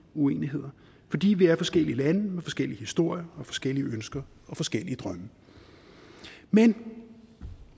uenigheder fordi vi er forskellige lande med forskellige historier og forskellige ønsker og forskellige drømme men